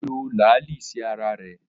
Ó lo làálí sí ara rẹ̀